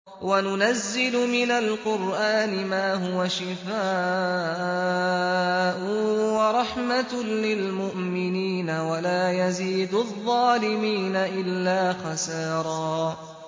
وَنُنَزِّلُ مِنَ الْقُرْآنِ مَا هُوَ شِفَاءٌ وَرَحْمَةٌ لِّلْمُؤْمِنِينَ ۙ وَلَا يَزِيدُ الظَّالِمِينَ إِلَّا خَسَارًا